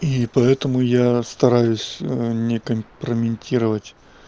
и поэтому я стараюсь не компрометировать